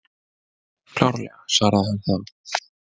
Klárlega, svaraði hann þá.